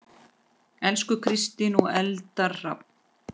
Elsku Kristín og Eldar Hrafn.